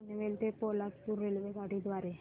पनवेल ते पोलादपूर रेल्वेगाडी द्वारे